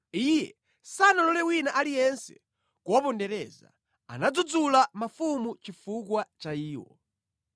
Iye sanalole wina aliyense kuwapondereza; anadzudzula mafumu chifukwa cha iwo: